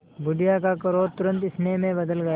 बुढ़िया का क्रोध तुरंत स्नेह में बदल गया